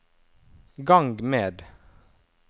gang med